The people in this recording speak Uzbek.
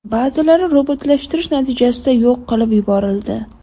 Ba’zilari robotlashtirish natijasida yo‘q qilib yuborildi.